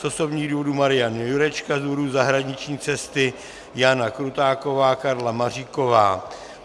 Z osobních důvodů Marian Jurečka, z důvodu zahraniční cesty Jana Krutáková, Karla Maříková.